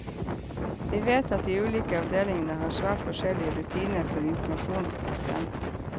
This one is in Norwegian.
Vi vet at de ulike avdelingene har svært forskjellige rutiner for informasjon til pasienten.